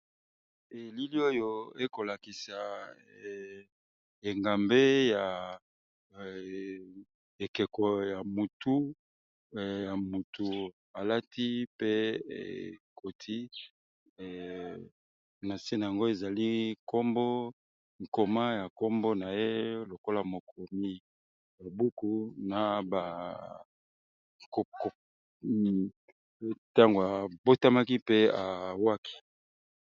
Elili oyo ekolakisa engambe ya ekeko ya motu, ya motu alati pe ekoti na nse nango ezali nkombo nkoma ya nkombo na ye lokola mokomi ba buku na kup kup ntango abotamaki mpe awaki.